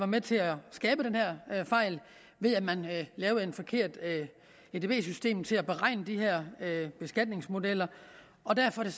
med til at skabe den her fejl ved at man lavede et forkert edb system til at beregne de her beskatningsmodeller derfor er